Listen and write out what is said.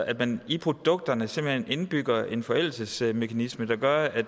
at man i produkterne simpelt hen indbygger en forældelsesmekanisme der gør at